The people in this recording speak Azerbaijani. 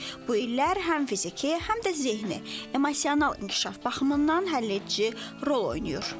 Bu illər həm fiziki, həm də zehni, emosional inkişaf baxımından həlledici rol oynayır.